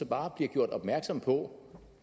bare bliver gjort opmærksom på